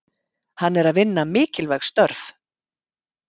Hann er að vinna mikilvæg störf.